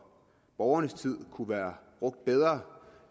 borgernes tid kunne være brugt bedre